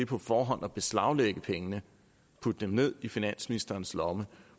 på forhånd at beslaglægge pengene og putte dem ned i finansministerens lomme